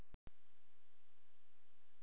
Var það nokkuð samtímis í ráðuneyti og banka.